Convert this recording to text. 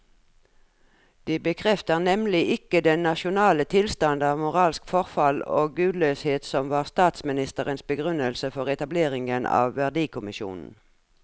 De bekrefter nemlig ikke den nasjonale tilstand av moralsk forfall og gudløshet som var statsministerens begrunnelse for etableringen av verdikommisjonen.